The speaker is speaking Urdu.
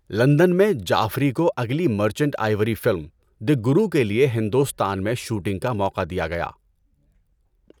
لندن میں، جعفری کو اگلی Merchant Ivory film, the Guru کے لیے ہندوستان میں شوٹنگ کا موقع دیا گیا۔